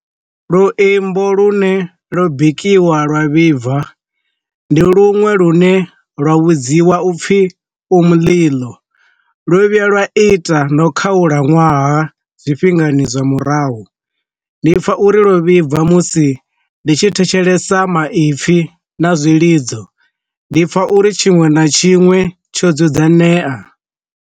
Luimbo lune lo bikiwa lwa vhibva, ndi lunwe lune lwa vhudziwa upfi u muḽiḽo, ḽo vhuya lwa ita no khalaṅwaha zwi tshifhingani zwa murahu, ndi pfha uri ḽo vhibva musi ndi tshi thetshelesa maipfi na zwilidzo ndi pfha uri tshiṅwe na tshiṅwe tsho dzudzanyea.